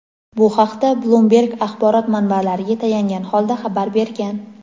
Bu haqda "Bloomberg" axborot manbalariga tayangan holda xabar bergan.